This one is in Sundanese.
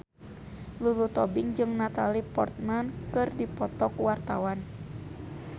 Lulu Tobing jeung Natalie Portman keur dipoto ku wartawan